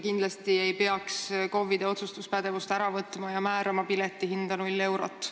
Kindlasti ei peaks KOV-idelt otsustuspädevust ära võtma ja määrama piletihinda null eurot.